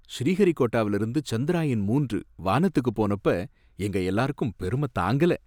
ஸ்ரீஹரிகோட்டாவுல இருந்து சந்திரயான் மூன்று வானத்துக்கு போனப்ப எங்க எல்லாருக்கும் பெருமை தாங்கல.